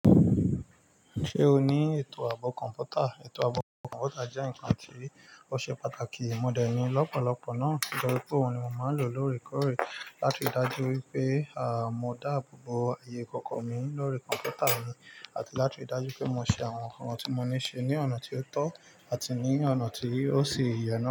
Ṣé o ní ètò ààbò kọ̀ǹpútà? Ètò ààbò kọ̀ǹpútà jẹ́ ǹkan tí ó ṣe pàtàkì. Mo dẹ̀ ní lọ́pọ̀lọ́pọ̀ náà. Tori pe òun ni mo máa ń lò lóòrèkóòrè láti rí i dájú wípé a mo dáàbò bo ayé kọ̀kọ̀ mi lórí kọ̀ǹpútà mi àti láti rí i dájú pé mo ṣe àwọn ǹkan tí mo ní ṣe ní ọ̀nà tí ó tọ́ àti ní ọ̀nà tí ó ṣe ìyàrá.